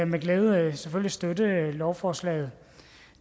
med glæde selvfølgelig støtte lovforslaget